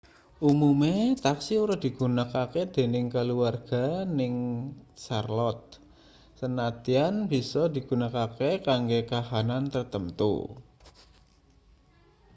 umume taksi ora digunakake dening kaluwarga ning charlotte sanadyan bisa digunakake kanggo kahanan tartamtu